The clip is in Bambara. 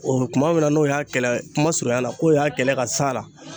O kuma min na n'o y'a kɛlɛ kuma surunyala k'o y'a kɛlɛ ka s'a la